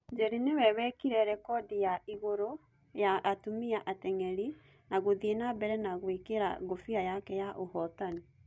Njeri nĩwe wekĩra rekodi ya igũrũ ya atumia ateng'eri na gũthie nambere na gũekĩra ngofia yake ya ũhotani